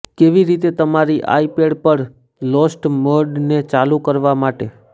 કેવી રીતે તમારી આઇપેડ પર લોસ્ટ મોડને ચાલુ કરવા માટે